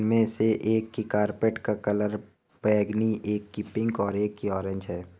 इनमें से एक की कारपेट का कलर बैंगनी एक की पिक और एक की ऑरेंज है।